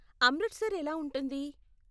అమృత్సర్ ఎలా ఉంటుంది?